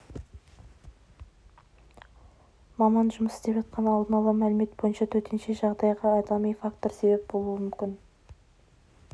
маман жұмыс істеп жатқан алдын ала мәлімет бойынша төтенше жағдайға адами фактор себеп болуы мүмкін